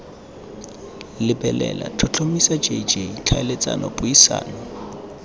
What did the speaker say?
lebelela tlhotlhomisa jj tlhaeletsano puisano